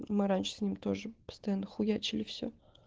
мы раньше с ним тоже постоянно хуячили всё